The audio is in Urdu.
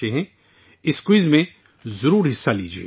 براہ مہربانی اس کوئز میں حصہ لیں